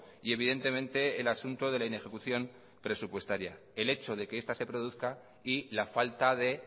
y evidentemente el asunto de la inejecución presupuestaria el hecho de que esta se produzca y la falta de